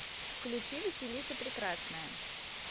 включи василиса прекрасная